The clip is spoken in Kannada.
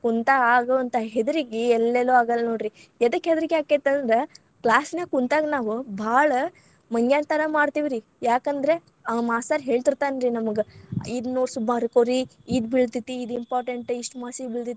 ಕುಂತಾ ಆಗುವಂತಾ ಹೆದರಕಗಿ, ಎಲ್ಲೆಲ್ಲೂ ಆಗಲ್ಲಾ ನೋಡ್ರಿ. ಎದಕ ಹೆದರಕಿ ಆಕ್ಕೆತಂದ್ರ class ನ್ಯಾಗ ಕುಂತಾಗ ನಾವು ಭಾಳ ಮಂಗ್ಯಾಂಥರಾ ಮಾಡ್ತೇವ್ರೀ. ಯಾಕಂದ್ರೆ, ಆ ಮಾಸ್ತರ್‌ ಹೇಳತಿರ್ತಾನ್ರಿ ನಮಗ್‌ ಇದ್ನ ಓಸ್‌ ಬರ್ಕೋರಿ, ಇದ್‌ ಬೀಳತೇತಿ. ಇದ್‌ important ಇದ್ ಇಷ್ಟ್ ಮಾರ್ಸೀಗ್ ಬೀಳತೇತಿ.